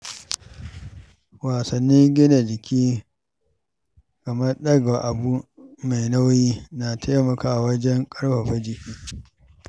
Wasannin gina jiki kamar ɗaga abu mai nauyi na taimakawa wajen ƙarfafa jiki.